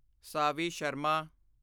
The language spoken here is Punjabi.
ਸਾਵੀ ਸ਼ਰਮਾ